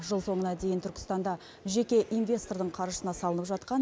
жыл соңына дейін түркістанда жеке инвестордың қаржысына салынып жатқан